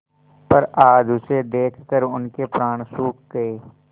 पर आज उसे देखकर उनके प्राण सूख गये